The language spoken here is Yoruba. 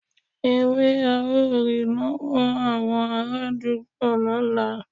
Ewe ao ri lowo awon araadugbo lola